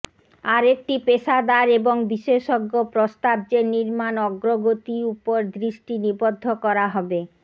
আরেকটি পেশাদার এবং বিশেষজ্ঞ প্রস্তাব যে নির্মাণ অগ্রগতি উপর দৃষ্টি নিবদ্ধ করা হবে